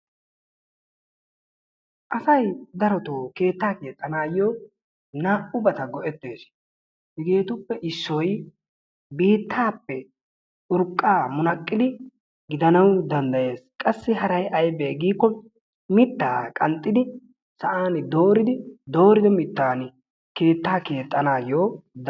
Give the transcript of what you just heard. Asay darotoo keettaa keexxanayoo naa"ubata go"eettees. Hegeetuppe issoy biittaappe urqqaa munaqqidi gidanawu danddayees. qassi haray aybee gikko mittaa qanxxidi sa'aan dooridi doorido mittaan keettaa keexxanayoo dan